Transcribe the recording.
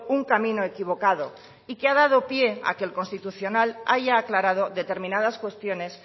un camino equivocado y que ha dado pie a que el constitucional haya aclarado determinadas cuestiones